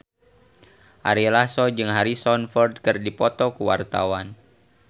Ari Lasso jeung Harrison Ford keur dipoto ku wartawan